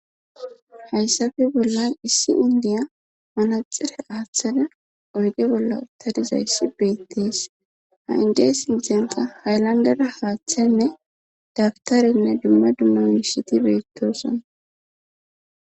hayssafe bollan issi indiya manaxire aaththada oyge bolla uttadizayssi beettees ha indiya sinthenta haylandara haaththanne dagtarenne dumma dumma miishiti beettosan